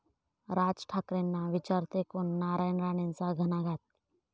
राज ठाकरेंना विचारतंय कोण?, नारायण राणेंचा घणाघात